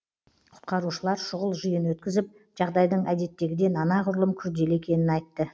құтқарушылар шұғыл жиын өткізіп жағдайдың әдеттегіден анағұрлым күрделі екенін айтты